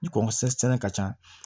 Ni kɔnkɔ sɛnɛ ka ca